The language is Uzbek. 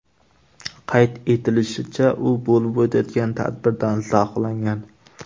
Qayd etilishicha, u bo‘lib o‘tayotgan tadbirdan zavqlangan.